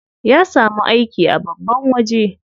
Ya samu aiki a babban waje.